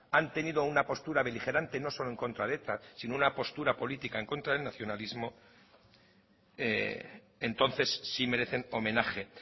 han tenido una postura beligerante no solo en contra eta sino una postura política en contra del nacionalismo entonces sí merecen homenaje